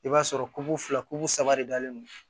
I b'a sɔrɔ fila ku saba de dalen don